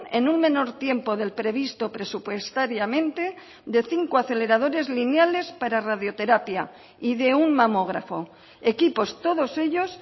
en un menor tiempo del previsto presupuestariamente de cinco aceleradores lineales para radioterapia y de un mamógrafo equipos todos ellos